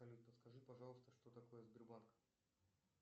салют подскажи пожалуйста что такое сбербанк